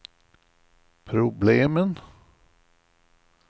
problemen